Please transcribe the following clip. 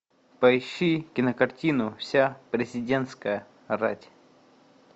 поищи кинокартину вся президентская рать